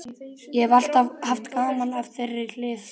Ég hef alltaf haft gaman af þeirri hlið starfsins.